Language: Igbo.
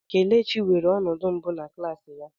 Kelechi weere ọnọdụ mbụ na klas ya.